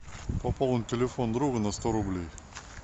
пополнить телефон друга на сто рублей